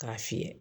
K'a fiyɛ